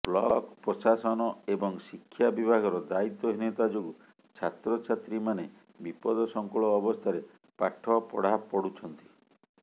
block ପ୍ରଶାସନ ଏବଂ ଶିକ୍ଷା ବିଭାଗର ଦାୟିତ୍ୱହୀନତା ଯୋଗୁଁ ଛାତ୍ରଛାତ୍ରୀମାନେ ବିପଦସଙ୍କୁଳ ଅବସ୍ଥାରେ ପାଠ ପଢ଼ାପଢ଼ୁଛନ୍ତି